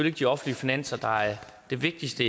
ikke de offentlige finanser der er det vigtigste